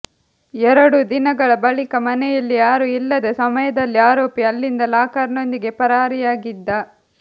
ಎರಡು ದಿನಗಳ ಬಳಿಕ ಮನೆಯಲ್ಲಿ ಯಾರೂ ಇಲ್ಲದ ಸಮಯದಲ್ಲಿ ಆರೋಪಿ ಅಲ್ಲಿಂದ ಲಾಕರ್ ನೊಂದಿಗೆ ಪರಾರಿಯಾಗಿದ್ದ